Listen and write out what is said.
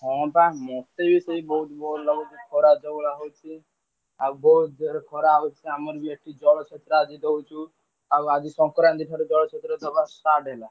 ହଁ ବା ମତେ ବି ସେଇ ବହୁତ bore ଲାଗୁଛି ଖରା ଯୋଉଭଳିଆ ହଉଛି ଆଉ ବହୁତ ଜୋରେ ଖରା ହଉଛି ଆମେବି ଏଠି ଜଳଛତ୍ର ଆଦି ଦଉଛୁ। ଆଉ ଆଜି ସଂକ୍ରାନ୍ତି ଠାରୁ ଜଳଛତ୍ର ଦବା start ହେଲା।